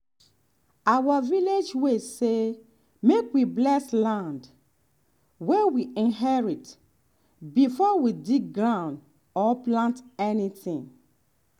our village way say make we bless land wey we inherit before we dig ground or plant anything.